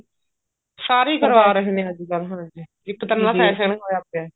ਸਾਰੇ ਹੀ ਕਰਵਾ ਰਹੇ ਨੇ ਅੱਜਕਲ ਹਾਂਜੀ ਇੱਕ ਤਰ੍ਹਾਂ ਦਾ fashion ਹੋਇਆ ਪਿਆ